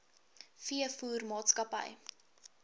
veevoermaatskappy meadow feeds